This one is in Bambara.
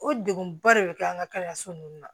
O degunba de bɛ kɛ an ka kalanso ninnu na